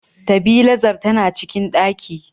Tabilazar tana cikin ɗaki.